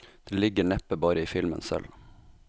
Det ligger neppe bare i filmen selv.